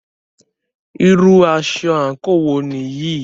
Irú aṣọ àńkò wo nìyí?